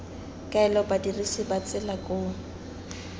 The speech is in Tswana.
kaela badirisi ba tsela koo